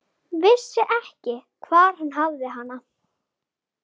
Ég leyfi mér að hoppa yfir í bréfið.